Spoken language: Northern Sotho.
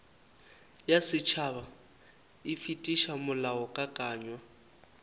ya setšhaba e fetiša molaokakanywa